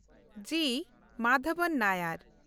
ᱡᱤ. ᱢᱟᱫᱷᱟᱣᱟᱱ ᱱᱟᱭᱟᱨ